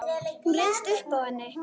Hún ryðst upp úr henni.